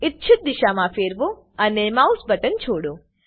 ઇચ્છિત દિશામાં ફેરવો અને માઉસ બટન છોડો